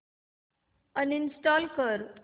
uninstall कर